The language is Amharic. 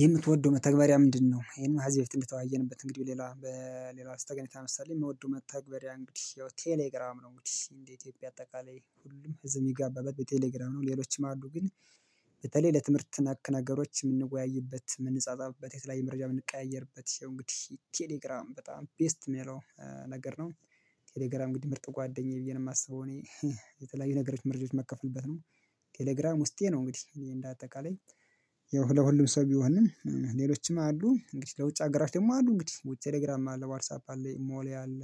የምትወደው መተግበሪያ ምንድነው? ይሄን ከዚ በፊት እንድተወያየንበት እንግዲህ ሌላ በሌላ ጠቀሜታ መሰለኝ የምወደው መተግበሪያ እንግዲህ ያው ቴሌግራም ነው። እንግዲህ እንዴ ኢትዮጵያ አጠቃላይ ሁሉም ህዝብ የሚጋባበት በቴሌግራም ነው። ሌሎችም አሉ ግን በተለይ ለትምህርት ነክ ነገሮች የምንወያይበት የምንጻጻፍበት የተለያዮ መረጃ የምንቀያየርበት ነው። እንግዲህ ቴሌግራም በጣም ቤስት የሚለው ነገር ነው። ቴሌግራም እንግዲህ ምርጥ ጓደኛዬ ብዬ ነው የማስበው እኔ። የተለያዩ ነገሮች መረጃዎች መካፍልበት ነው። ቴሌግራም ውስጤ ነው እንግዲህ እንደ አጠቃላይ። ለሁሉም ሰው ቢሆንም ሌሎችም አሉ እንግዲህ ለውጭ አገራት ደግሞ አሉ እንግዲህ ወይ ቴሌግራም አለ ዋትሳፕ አለ አሞሌ አለ።